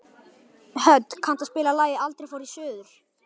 Hödd, kanntu að spila lagið „Aldrei fór ég suður“?